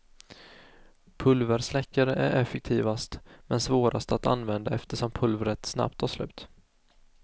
Pulversläckare är effektivast, men svårast att använda eftersom pulvret snabbt tar slut.